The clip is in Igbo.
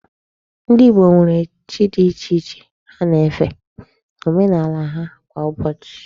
Ndị Igbo nwere chi dị iche iche ha na-efe n'omenala ha kwá Ụbọchị.